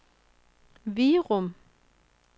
Virum